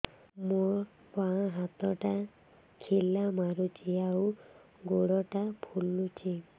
ମୋ ବାଆଁ ହାତଟା ଖିଲା ମାରୁଚି ଆଉ ଗୁଡ଼ ଟା ଫୁଲୁଚି